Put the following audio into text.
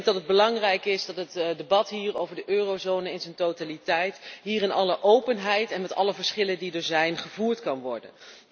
Ik denk dat het belangrijk is dat het debat hier over de eurozone in zijn totaliteit, in alle openheid en met alle verschillen die er zijn, gevoerd kan worden.